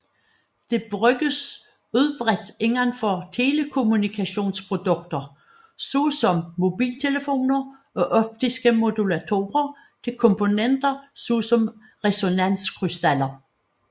Det bruges udbredt indenfor telekommunikationsprodukter såsom mobiltelefoner og optiske modulatorer til komponenter såsom resonanskrystaller